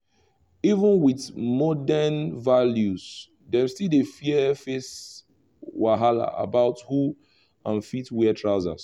even with modern values them still dey face wahala about who um fit wear trousers